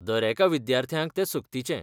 दरेका विद्यार्थ्याक तें सक्तीचें .